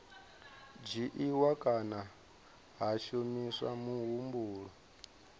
dzhiiwa kana ha shumiswa muhumbulo